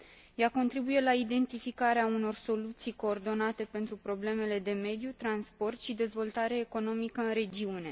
Ea contribuie la identificarea unor soluții coordonate pentru problemele de mediu, transport și dezvoltare economică în regiune.